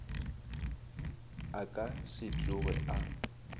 a ka se tsoge a